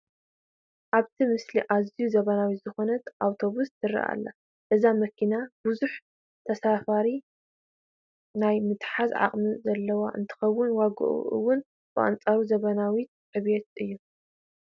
ኣብቲ ምስሊ ኣዝያ ዘመናዊት ዝኾነት ኣውቶቡስ ትርአ ኣላ፡፡ እዛ መኪና ብዙሕ ተሳፋሪ ናይ ምሓዝ ዓቕሚ ዘለዋ እንትትኮን ዋግኣ እውን ብኣንፃር ዘመናውነታን ዕብየታን እዩ፡፡